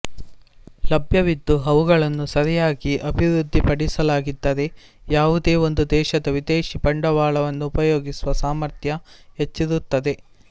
ಲಭ್ಯವಿದ್ದು ಅವುಗಳನ್ನು ಸರಿಯಾಗಿ ಅಭಿವೃದ್ದಿಪಡಿಸಲಾಗಿದ್ದರೆ ಯಾವುದೇ ಒಂದು ದೇಶದ ವಿದೇಶಿ ಬಂಡವಾಳವನ್ನು ಉಪಯೋಗಿಸುವ ಸಾಮರ್ಥ್ಯ ಹೆಚ್ಚಿರುತ್ತದೆ